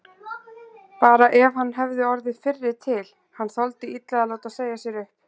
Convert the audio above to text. Bara ef hann hefði orðið fyrri til, hann þoldi illa að láta segja sér upp.